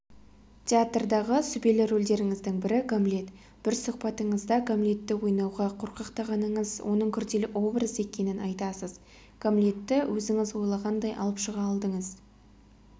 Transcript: театрдағы сүбелі рөлдеріңіздің бірі гамлет бір сұхбатыңызда гамлетті ойнауға қорқақтағаныңызды оның күрделі образ екенін айтасыз гамлетті өзіңіз ойлағандай алып шыға алдыңыз